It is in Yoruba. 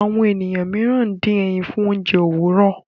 Àwọn ènìyàn mìíràn dín ẹyìn fún oúnjẹ Òwúrọ.